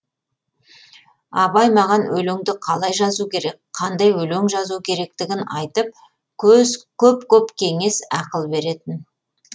абай маған өлеңді қалай жазу керек қандай өлең жазу керектігін айтып көп көп кеңес ақыл беретін